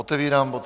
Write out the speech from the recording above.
Otevírám bod